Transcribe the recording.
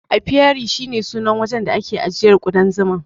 Apiary shi ne sunan wajen da ake ajiyan kudan Zuma.